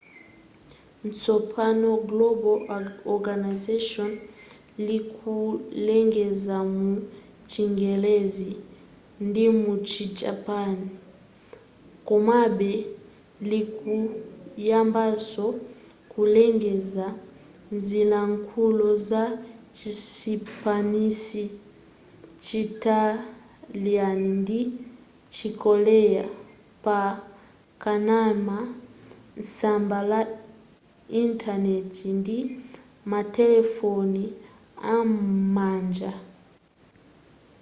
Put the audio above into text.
tsopano global organisation likulengeza mu chingerezi ndimuchi japan komabe likuyambanso kulengeza mzilankhulo za chisipanishi chitaliana ndi chikorea pa kanema tsamba la intaneti ndi matelefoni am'manja